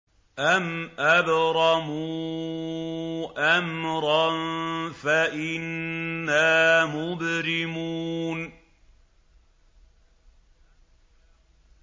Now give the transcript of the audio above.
أَمْ أَبْرَمُوا أَمْرًا فَإِنَّا مُبْرِمُونَ